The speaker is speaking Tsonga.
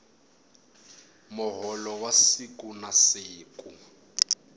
muholo wa siku na siku